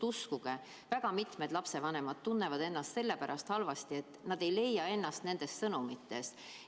Uskuge, väga paljud lapsevanemad tunnevad ennast sellepärast halvasti, et nad ei leia ennast valitsuse sõnumitest.